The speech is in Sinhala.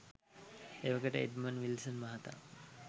එවකට එඞ්මන් විල්සන් මහතා